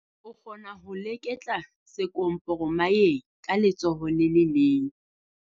O kgona ho leketla sekomporomayeng ka letsoho le le leng.